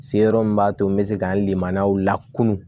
Se yɔrɔ min b'a to n be se ka lemanaw lakinu